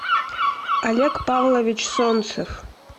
олег павлович солнцев